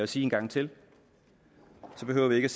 sige en gang til så behøver vi ikke